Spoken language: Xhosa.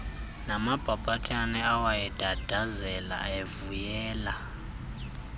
namabhabhathane awayendandazela evuyela